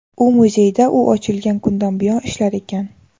U muzeyda u ochilgan kundan buyon ishlar ekan.